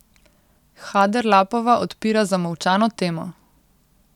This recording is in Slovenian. Haderlapova odpira zamolčano temo.